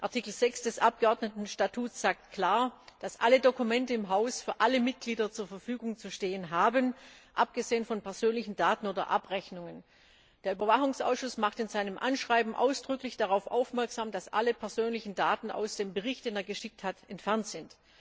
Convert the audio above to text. Artikel 6 des Abgeordnetenstatuts sagt klar, dass alle Dokumente im Haus für alle Mitglieder zur Verfügung zu stehen haben, abgesehen von persönlichen Daten oder Abrechnungen. Der Überwachungsausschuss macht in seinem Anschreiben ausdrücklich darauf aufmerksam, dass alle persönlichen Daten aus dem Bericht, den er geschickt hat, entfernt sind.